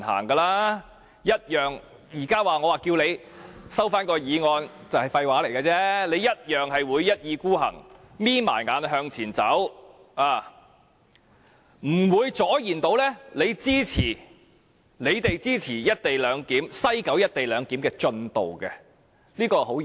我現在請它收回議案，其實也只是廢話，因為它同樣會一意孤行，閉着眼向前走，我們是無法阻延他們推展西九"一地兩檢"的，這是相當現實的事情。